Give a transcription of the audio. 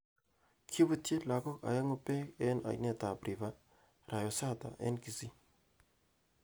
Kebutyi lakok aengu beng eng ainet ab River Rionsata eng Kisii.